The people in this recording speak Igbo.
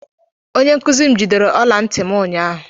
Onye nkuzi m jidere ọla ntị m ụnyaahụ